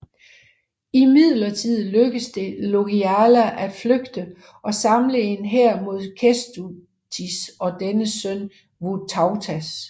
Imidlertid lykkedes det Jogaila at flygte og samle en hær mod Kęstutis og dennes søn Vytautas